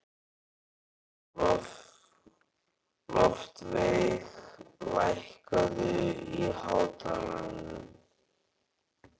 Loftveig, lækkaðu í hátalaranum.